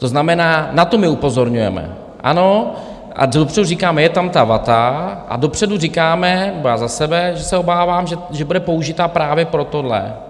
To znamená, na to my upozorňujeme, ano, a dopředu říkáme, je tam ta vata, a dopředu říkáme - nebo já za sebe, že se obávám, že bude použita právě pro tohle.